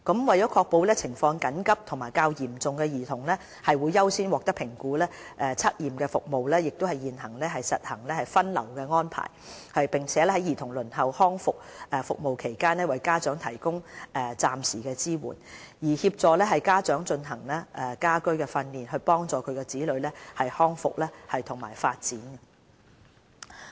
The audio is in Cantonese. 為確保情況緊急和較嚴重的兒童會優先獲得評估，測驗服務現已實行分流安排，並在兒童輪候康復服務期間為家長提供暫時性支援，協助家長進行家居訓練，幫助其子女康復和發展。